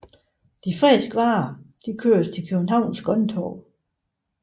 De friske varer køres til Københavns grønttorv